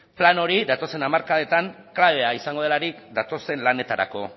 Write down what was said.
plan hori datozen hamarkadetan klabea izango delarik datozen lanetarako